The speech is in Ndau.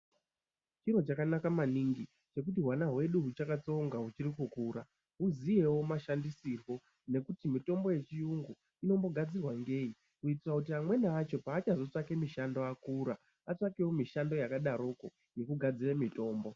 Chiro chakanaka maningi chekuti hwana hwedu huchakatsonga huchiri kukura huziyewo mashandisirwo nekuti mitombo yechiyungu inombogadzirwa ngei kuitira kuti amweni acho paachozotsvake mishando akura atsvakewo mishando yakadaroko yekugadzire mutombo.